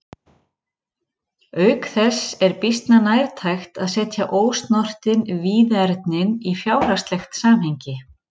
Auk þess er býsna nærtækt að setja ósnortin víðernin í fjárhagslegt samhengi.